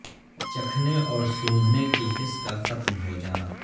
چکھنے اور سونگھنے کی حس کا ختم ہو جانا